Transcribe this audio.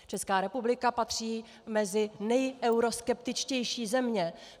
Česká republika patří mezi nejeuroskeptičtější země.